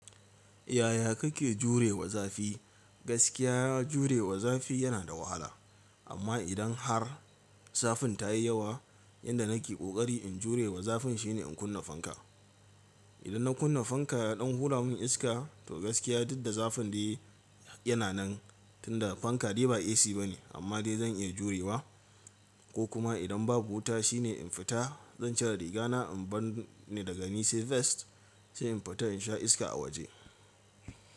Yaya kake jurewa zafi? Gaskiya jurewa zafi yana da wahala amma idan har zafin ta yi yawa yanda nake ƙoƙari in jurewa zafin shine in kunna fanka. Idan na kunna fanka ya ɗan hura mun iska to gaskiya duk da zafin dai yana nan tunda fanka dai ba AC bane amma dai zan iya jurewa. Ko kuma idan babu wuta shine in fita zan cire riga na in bar ni daga ni sai vest sai in fita in sha iska a waje.